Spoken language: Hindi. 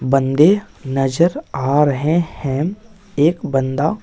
बंदे नजर आ रहे हैं एक बंदा--